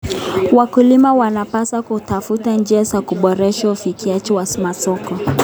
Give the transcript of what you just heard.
Wakulima wanapaswa kutafuta njia za kuboresha ufikiaji wa masoko.